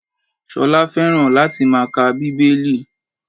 Ṣolá fẹ́ràn láti máa ka Bíbélì.